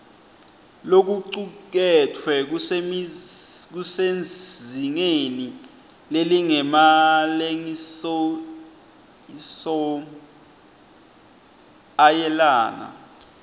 lokucuketfwe kusezingeni lelingemalengisoisomayelana